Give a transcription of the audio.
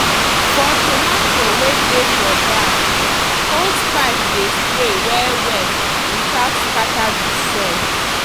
for tomato wey dey for bag hosepipe dey spray well well without scatter the soil.